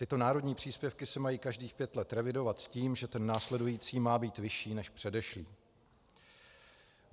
Tyto národní příspěvky se mají každých pět let revidovat s tím, že ten následující má být vyšší než předešlý.